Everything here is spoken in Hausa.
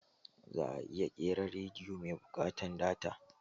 Za'a iya ƙera rediyo mai buƙatan data.